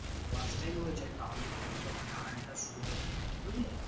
Watch time হয়ে যাই তাহলে কিন্তু তোর মানে earn টা শুরু হয়ে যেতে পারে বুঝলি?